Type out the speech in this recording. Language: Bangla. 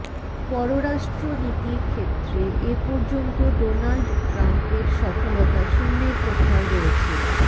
পররাষ্ট্রনীতির ক্ষেত্রে এ পর্যন্ত ডোনাল্ড ট্রাম্পের সফলতা শূন্যের কোঠায় রয়েছে